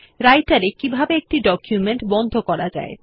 Writer এ কিভাবে একটি ডকুমেন্ট বন্ধ করা যায়